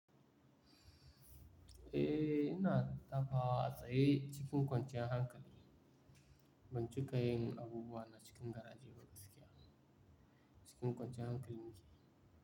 Eh, ina dafa tsaye cikin kwanciyar hankali. Ban cikayin abubuwa na cikin garaje wani tsakiya cikin kwanciyar hankali yake.